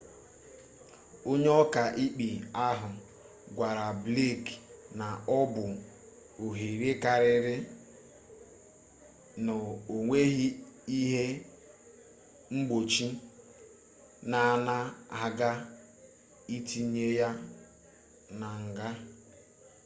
onye oka-ikpe ahu gwara blake na obu ohere kariri na onweghi-ihe mgbochi na ana aga itinye ya na nga